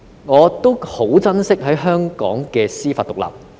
我很珍惜香港的司法獨立。